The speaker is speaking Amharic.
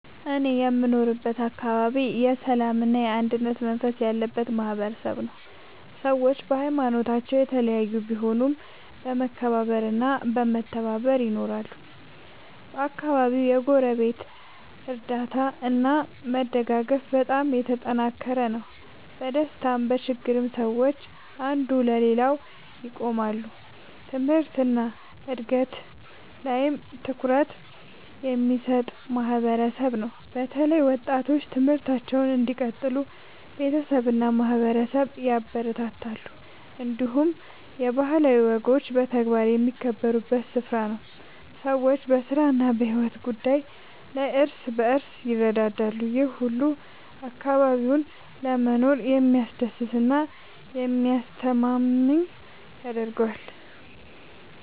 እኔ የምኖርበት አካባቢ የሰላምና የአንድነት መንፈስ ያለበት ማህበረሰብ ነው። ሰዎች በሀይማኖታቸው የተለያዩ ቢሆኑም በመከባበር እና በመተባበር ይኖራሉ። በአካባቢው የጎረቤት እርዳታ እና መደጋገፍ በጣም የተጠናከረ ነው። በደስታም በችግርም ሰዎች አንዱ ለሌላው ይቆማሉ። ትምህርት እና እድገት ላይም ትኩረት የሚሰጥ ማህበረሰብ ነው። በተለይ ወጣቶች ትምህርታቸውን እንዲቀጥሉ ቤተሰብ እና ማህበረሰብ ያበረታታሉ። እንዲሁም የባህላዊ ወጎች በተግባር የሚከበሩበት ስፍራ ነው። ሰዎች በስራ እና በሕይወት ጉዳይ ላይ እርስ በርስ ይረዳዳሉ። ይህ ሁሉ አካባቢውን ለመኖር የሚያስደስት እና የሚያስተማማኝ ያደርገዋል።